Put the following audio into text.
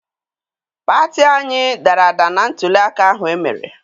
Pati anyị dara ada na ntụliaka ahụ emere.